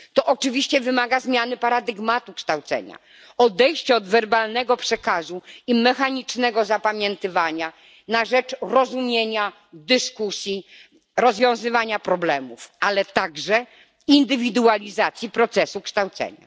To oczywiście wymaga zmiany paradygmatu kształcenia, odejścia od werbalnego przekazu i mechanicznego zapamiętywania na rzecz rozumienia, dyskusji, rozwiązywania problemów, ale także indywidualizacji procesu kształcenia.